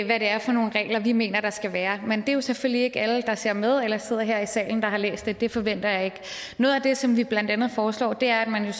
hvad det er for nogle regler vi mener der skal være men det er selvfølgelig ikke alle der ser med eller sidder her i salen der har læst det det forventer jeg ikke noget af det som vi blandt andet foreslår er at man